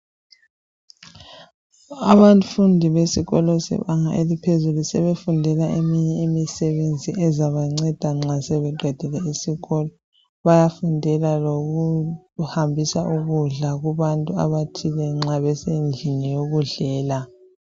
Abafundi besikolo sebanga eliphezulu sebefundela eminye imisebenzi ezabanceda nxa sebeqedile isikolo bayafundela lokuhambisa ukudla kubantu abathile nxa besendlini yokudlela.